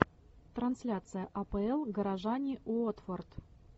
трансляция апл горожане уотфорд